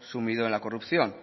sumido en la corrupción